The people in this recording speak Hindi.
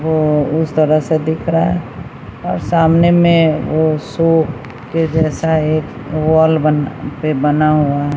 वो उस तरह से दिख रहा है और सामने में वो सो के जैसा एक वॉल बन पे बना हुआ है।